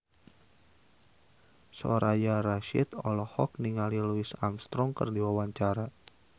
Soraya Rasyid olohok ningali Louis Armstrong keur diwawancara